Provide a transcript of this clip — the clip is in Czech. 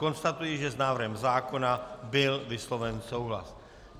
Konstatuji, že s návrhem zákona byl vysloven souhlas.